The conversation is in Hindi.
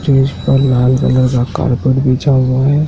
स्टेज पर लाल कलर का कारपेट बिछा हुआ है।